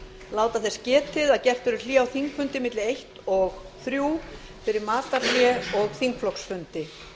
láta þess getið að gert verður hlé á þingfundi milli eins og þrír fyrir matarhlé og þingflokksfundi